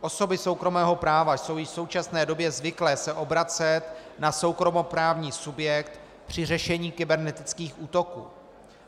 Osoby soukromého práva jsou již v současné době zvyklé se obracet na soukromoprávní subjekt při řešení kybernetických útoků.